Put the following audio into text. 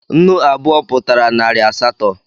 Nnu abụọ Pụtara narị asatọ